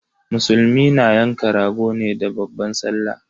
Musulmai na yanka rago ne da babban sallah